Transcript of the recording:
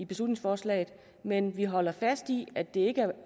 beslutningsforslaget men vi holder fast i at det ikke er